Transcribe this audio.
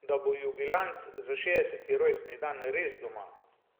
da bo jubilant za šestdeseti rojstni dan res doma.